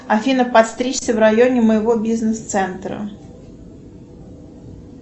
афина подстричься в районе моего бизнес центра